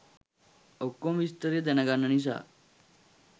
ඔක්කොම විස්තරේ දැනගන්න නිසා.